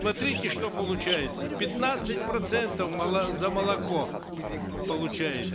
смотрите что получается пятнадцать процентов за молоко получают